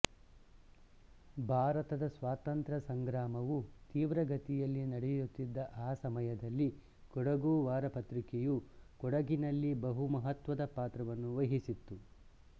ಭಾರತದ ಸ್ವಾತಂತ್ರ್ಯ ಸಂಗ್ರಾಮವು ತೀವ್ರಗತಿಯಲ್ಲಿ ನಡೆಯುತ್ತಿದ್ದ ಆ ಸಮಯದಲ್ಲಿ ಕೊಡಗು ವಾರಪತ್ರಿಕೆಯು ಕೊಡಗಿನಲ್ಲಿ ಬಹು ಮಹತ್ವದ ಪಾತ್ರವನ್ನು ವಹಿಸಿತ್ತು